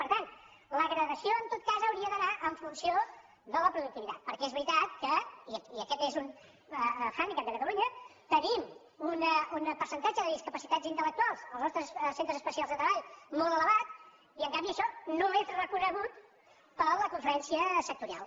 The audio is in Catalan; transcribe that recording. per tant la gradació en tot cas hauria d’anar en funció de la productivitat perquè és veritat que i aquest és un handicap de catalunya tenim un percentatge de discapacitats intel·lectuals als nostres centres especials de treball molt elevat i en canvi això no és reconegut per la conferència sectorial